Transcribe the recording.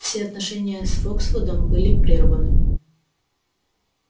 все отношения с фоксвудом были прерваны